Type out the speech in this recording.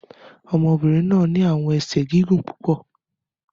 Ọmọbirin naa ni awọn ẹsẹ gigun pupọ